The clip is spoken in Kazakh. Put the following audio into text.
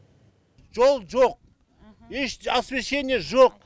жол жоқ еш освещение жоқ